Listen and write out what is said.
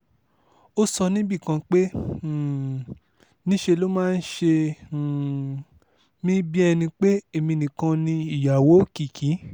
ó sọ ọ́ níbì kan pé um níṣẹ́ ló máa ń ṣe um mí bíi ẹni pé èmi nìkan ni ìyàwó òkìkí